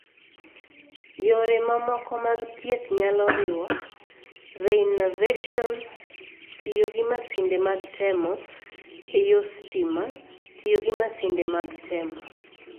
Yore mamoko mag thieth nyalo riwo:Reinnervation(tiyo gi masinde mag temo) eyo stima (tiyo gi masinde mag temo).